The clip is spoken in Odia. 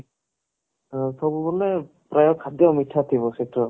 ହଁ ସବୁ ବୋଲେ ପ୍ରାଏ ଖାଦ୍ଯ ମିଠା ଥିବ ସେଥିରେ